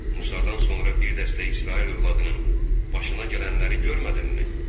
Musadan sonra bir dəstə İsrail övladının başına gələnləri görmədimmi?